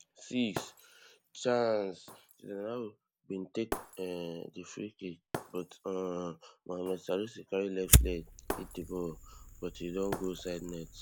six chaaaaancejordan ayew bin take um di freekick but um mohammed salisu carry left leg hit di ball but e don go sidenet